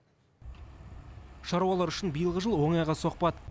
шаруалар үшін биылғы жыл оңайға соқпады